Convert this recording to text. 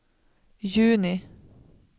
juni